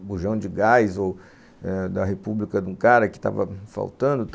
o bujão de gás ou eh da república de um cara que estava faltando e tal.